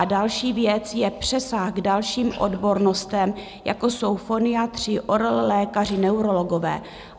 A další věc je přesah k dalším odbornostem, jako jsou foniatři, ORL lékaři, neurologové.